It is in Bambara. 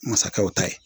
Masakɛw ta ye